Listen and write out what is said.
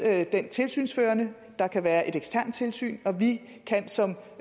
er den tilsynsførende der kan være et eksternt tilsyn og vi kan som